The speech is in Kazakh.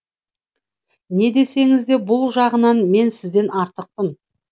не десеңіз де бұл жағынан мен сізден артықпын